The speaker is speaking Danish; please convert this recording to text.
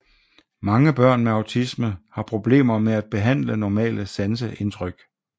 Mange børn med autisme har problemer med at behandle normale sanseindtryk